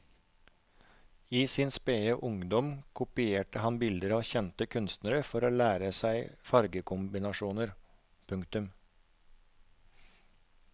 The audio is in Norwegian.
I sin spede ungdom kopierte han bilder av kjente kunstnere for å lære seg fargekombinasjoner. punktum